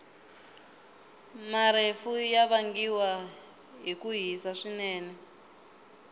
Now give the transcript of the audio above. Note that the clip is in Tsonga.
marefu yavangiwa hhikuhhisa swinene